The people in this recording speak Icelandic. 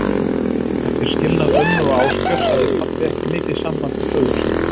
Eftir skilnað ömmu og Ásbjörns hafði pabbi ekki mikið samband við föður sinn.